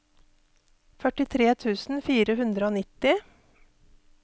førtitre tusen fire hundre og nitti